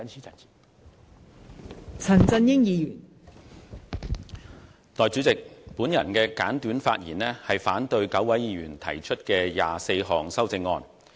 代理主席，我會作簡短發言，反對9位議員提出的24項修正案。